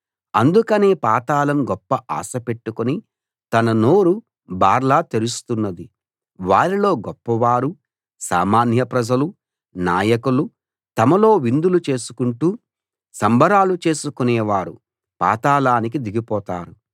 అందుకనే పాతాళం గొప్ప ఆశ పెట్టుకుని తన నోరు బార్లా తెరుస్తున్నది వారిలో గొప్పవారు సామాన్య ప్రజలు నాయకులు తమలో విందులు చేసుకుంటూ సంబరాలు చేసుకునే వారు పాతాళానికి దిగిపోతారు